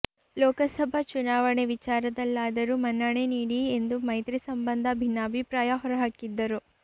ಲೋಕಸಭಾ ಚುನಾವಣೆ ವಿಚಾರದಲ್ಲಾದರೂ ಮನ್ನಣೆ ನೀಡಿ ಎಂದು ಮೈತ್ರಿ ಸಂಬಂಧ ಭಿನ್ನಾಭಿಪ್ರಾಯ ಹೊರಹಾಕಿದ್ದರು